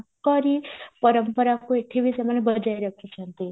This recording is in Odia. ତାଙ୍କରି ପରମ୍ପରାକୁ ଏଠିବି ସେମାନେ ବଜେଇ ରଖିଛନ୍ତି